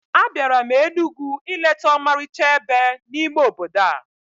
Abịara m Enugwu ileta ọmarịcha ebe n'ime obodo a